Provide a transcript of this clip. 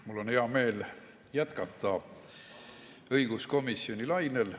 Mul on hea meel jätkata õiguskomisjoni lainel.